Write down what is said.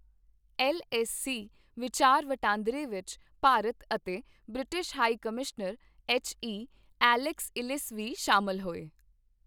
L S C ਵਿਚਾਰ ਵਟਾਂਦਰੇ ਵਿੱਚ ਭਾਰਤ ਅਤੇ British high commissioner, H E. Alex Ellis ਵੀ ਸ਼ਾਮਲ ਹੋਏ।